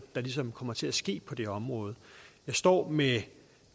der ligesom kommer til at ske på det område jeg står med